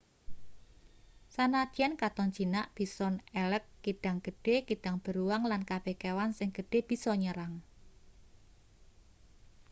sanadyan katon jinak bison elk kidang gedhe kidang beruang lan kabeh kewan sing gedhe bisa nyerang